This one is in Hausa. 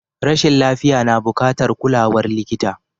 Rashin lafiya na bukatar kulawar likita.